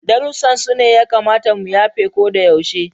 Darussan su ne ya kamata mu yafe ko da yaushe.